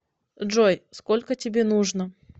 джой сколько тебе нужно